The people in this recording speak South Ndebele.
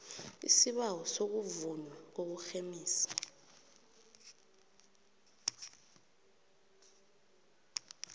isibawo sokuvunywa kokurhemisa